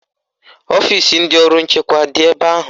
Ọfisi ndị ọrụ nchekwa adị ebe ahụ?